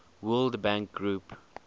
world bank group